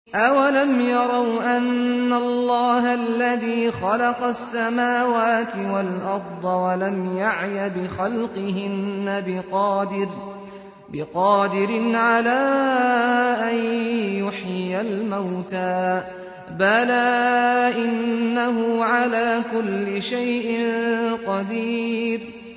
أَوَلَمْ يَرَوْا أَنَّ اللَّهَ الَّذِي خَلَقَ السَّمَاوَاتِ وَالْأَرْضَ وَلَمْ يَعْيَ بِخَلْقِهِنَّ بِقَادِرٍ عَلَىٰ أَن يُحْيِيَ الْمَوْتَىٰ ۚ بَلَىٰ إِنَّهُ عَلَىٰ كُلِّ شَيْءٍ قَدِيرٌ